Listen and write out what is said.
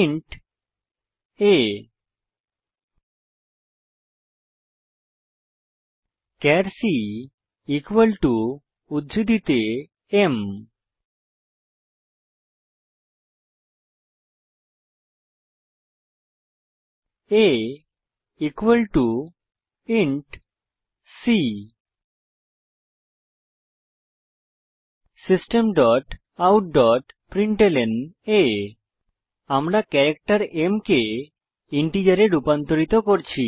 int a char c equal to উদ্ধৃতি চিনহে m a equal to c system dot out dot println আমরা character m কে ইন্টিজারে রুপান্তরিত করছি